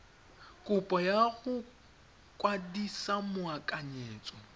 kopo ya go kwadisa moakanyetso